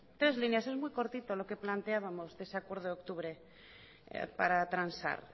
tres líneas es muy cortito lo que planteábamos de ese acuerdo de octubre para transar